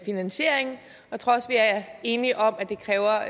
finansiering og jeg tror også vi er enige om at det kræver